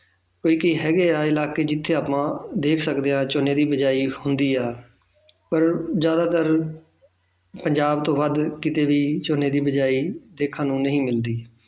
ਤੇ ਕਈ ਹੈਗੇ ਇਲਾਕੇ ਜਿੱਥੇ ਆਪਾਂ ਦੇਖ ਸਕਦੇ ਹਾਂ ਝੋਨੇ ਦੀ ਬੀਜਾਈ ਹੁੰਦੀ ਹੈ ਤਾਂ ਜ਼ਿਆਦਾਤਰ ਪੰਜਾਬ ਤੋਂ ਵੱਧ ਕਿਤੇ ਵੀ ਝੋਨੇ ਦੀ ਬੀਜਾਈ ਦੇਖਣ ਨੂੰ ਨਹੀਂ ਮਿਲਦੀ